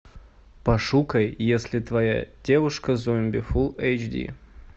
пошукай если твоя девушка зомби фул эйч ди